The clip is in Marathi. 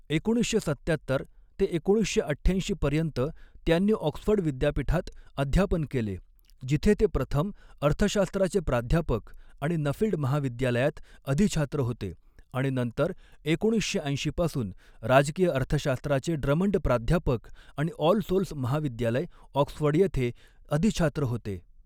एकोणीसशे सत्त्यात्तर ते एकोणीसशे अठ्ठ्याऐंशी पर्यंत त्यांनी ऑक्सफर्ड विद्यापीठात अध्यापन केले, जिथे ते प्रथम अर्थशास्त्राचे प्राध्यापक आणि नफील्ड महाविद्यालयात अधिछात्र होते आणि नंतर एकोणीसशे ऐंशी पासून राजकीय अर्थशास्त्राचे ड्रमंड प्राध्यापक आणि ऑल सोल्स महाविद्यालय, ऑक्सफर्ड येथे अधिछात्र होते.